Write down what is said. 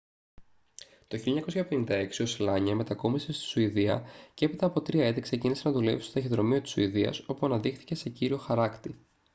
το 1956 ο σλάνια μετακόμισε στη σουηδία και έπειτα από 3 έτη ξεκίνησε να δουλεύει στο ταχυδρομείο της σουηδίας όπου αναδείχθηκε σε κύριο χαράκτη